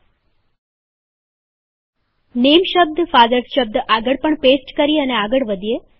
ચાલો નેમ શબ્દ ફાધર્સ શબ્દ આગળ પણ પેસ્ટ કરીએ અને આગળ વધીએ